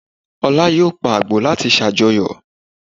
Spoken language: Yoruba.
Olá yóò pa àgbò láti ṣàjọyọ̀